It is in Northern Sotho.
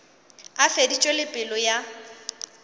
a feditše le pelo ya